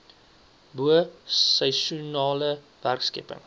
bo seisoenale werkskepping